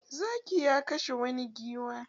Zaki ya kashe wani giwa.